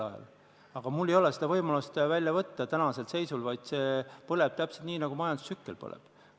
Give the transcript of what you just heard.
Aga praegu mul ei ole seda võimalust ja see põleb täpselt nii, nagu ta selles majandustsükli faasis põleb.